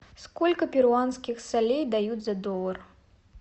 сколько перуанских солей дают за доллар